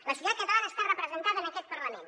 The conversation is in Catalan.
la societat catalana està representada en aquest parlament